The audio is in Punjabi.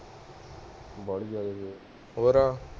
ਜਾਂ